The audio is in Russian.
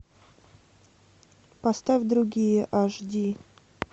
поставь другие аш ди